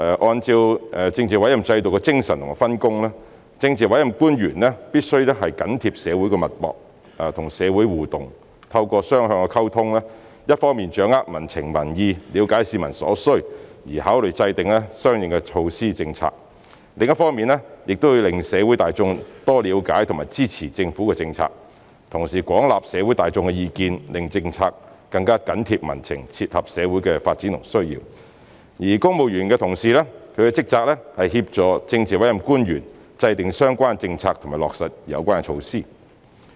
按政治委任制度的精神和分工，政治委任官員必須緊貼社會脈搏、與社會互動，透過雙向溝通，一方面掌握民情民意，了解市民所需，從而考慮制訂相應措施和政策，另一方面讓社會大眾多了解和支持政府的政策，同時廣納社會大眾的意見，令政策更緊貼民情，切合社會的發展和需要；而公務員同事的職責是協助政治委任官員制訂相關政策及落實有關措施。